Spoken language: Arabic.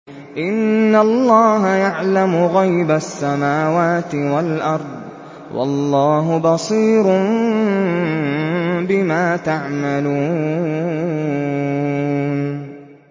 إِنَّ اللَّهَ يَعْلَمُ غَيْبَ السَّمَاوَاتِ وَالْأَرْضِ ۚ وَاللَّهُ بَصِيرٌ بِمَا تَعْمَلُونَ